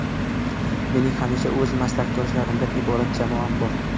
Mening hamisha o‘z maslakdoshlarimdan iborat jamoam bor.